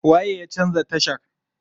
Waye ya canza tashar?